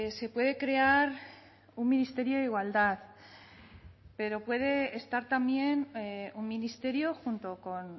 se puede crear un ministerio de igualdad pero puede estar también un ministerio junto con